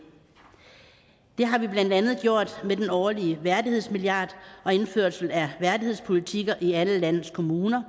har vi blandt andet gjort med den årlige værdighedsmilliard og indførelsen af værdighedspolitikker i alle landets kommuner